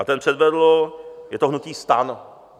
A ten předvedl, je to hnutí STAN.